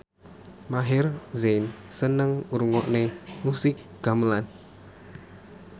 Maher Zein seneng ngrungokne musik gamelan